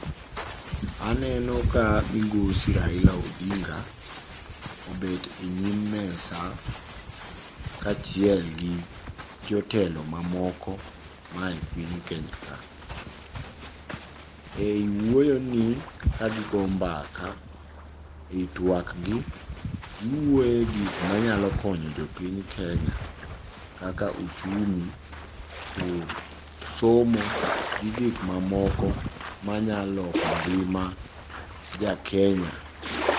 Aneno ka migosi Raila Odinga obet e nyim mesa kachielgi jotelo mamoko maae piny Kenya ka. Ei wuoyoni kagigo mbaka, e twakgi giwuoyo e gik manyalo konyo jopiny Kenya kaka uchumi, pur, somo gi gikmamoko manyaloko ngima jaKenya.